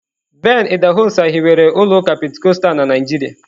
Ben idahosa hiwere ụlọ ụka Pentikọstal na Naịjirịa.